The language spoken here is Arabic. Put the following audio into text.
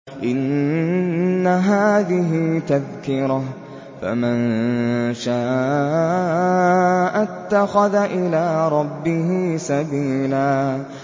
إِنَّ هَٰذِهِ تَذْكِرَةٌ ۖ فَمَن شَاءَ اتَّخَذَ إِلَىٰ رَبِّهِ سَبِيلًا